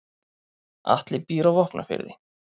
Atli býr á Vopnafirði.